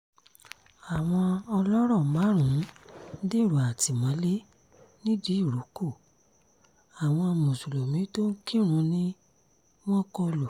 àwọn ọlọ́rọ̀ márùn-ún dèrò àtìmọ́lé nìdírọ́kọ àwọn mùsùlùmí tó ń kírun ni wọ́n kọ lù